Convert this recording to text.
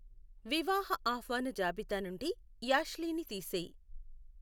వివాహ ఆహ్వాన జాబితా నుండి యాష్లీని తీసేయ్